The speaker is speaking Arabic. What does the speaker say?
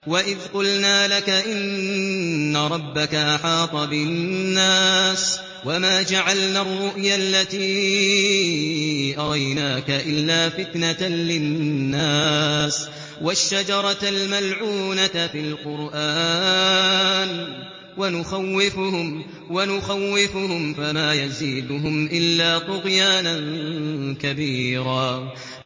وَإِذْ قُلْنَا لَكَ إِنَّ رَبَّكَ أَحَاطَ بِالنَّاسِ ۚ وَمَا جَعَلْنَا الرُّؤْيَا الَّتِي أَرَيْنَاكَ إِلَّا فِتْنَةً لِّلنَّاسِ وَالشَّجَرَةَ الْمَلْعُونَةَ فِي الْقُرْآنِ ۚ وَنُخَوِّفُهُمْ فَمَا يَزِيدُهُمْ إِلَّا طُغْيَانًا كَبِيرًا